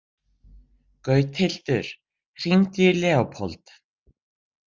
Gauthildur, hringdu í Leópold.